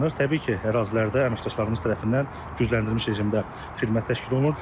Təbii ki, ərazilərdə əməkdaşlarımız tərəfindən gücləndirilmiş rejimdə xidmət təşkil olunub.